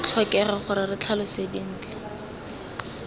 tlhokege gore re tlhalose dintlha